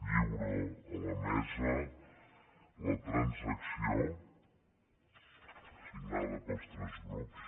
lliuro a la mesa la transacció signada pels tres grups